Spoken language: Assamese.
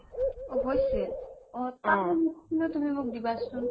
অ', হৈছিল অ, তাৰ notes খিনিও মোক দিবাচোন